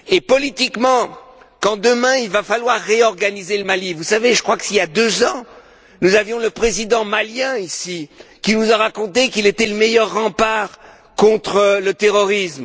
Politiquement, quand demain, il faudra réorganiser le Mali je crois qu'il y a deux ans, nous avions le Président malien, ici, qui nous a raconté qu'il était le meilleur rempart contre le terrorisme